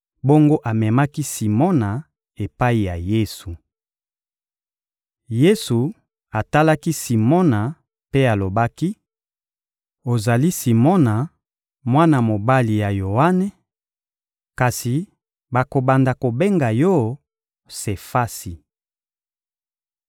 Bongo amemaki Simona epai ya Yesu. Yesu atalaki Simona mpe alobaki: «Ozali Simona, mwana mobali ya Yoane; kasi bakobanda kobenga yo Sefasi + 1.42 Sefasi elingi koloba: Libanga. .»